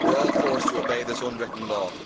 We're all forced to obey this unwritten law.'